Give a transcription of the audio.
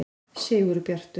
Sigurbjartur